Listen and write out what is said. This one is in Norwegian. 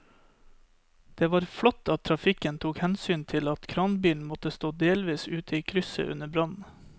Det var flott at trafikken tok hensyn til at kranbilen måtte stå delvis ute i krysset under brannen.